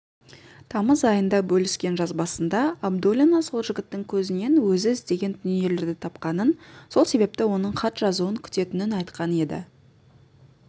тамыз айында бөліскен жазбасында абдуллина сол жігіттің көзінен өзі іздеген дүниелерді тапқанын сол себепті оның хат жазуын күтетінін айтқан еді